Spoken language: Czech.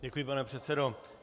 Děkuji, pane předsedo.